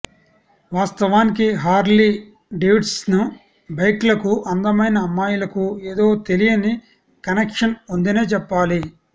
వాస్తవానికి Harley Davidson బైక్లకు అందమైన అమ్మాయిలకు ఏదో తెలియని కెనక్షన్ ఉందనే చెప్పాలి